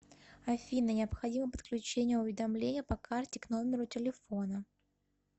афина необходимо подключение уведомления по карте к номеру телефона